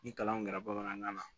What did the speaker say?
Ni kalan kun kɛra bamanankan na